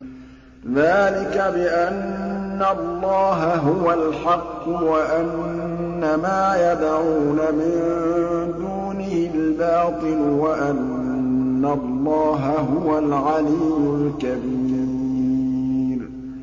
ذَٰلِكَ بِأَنَّ اللَّهَ هُوَ الْحَقُّ وَأَنَّ مَا يَدْعُونَ مِن دُونِهِ الْبَاطِلُ وَأَنَّ اللَّهَ هُوَ الْعَلِيُّ الْكَبِيرُ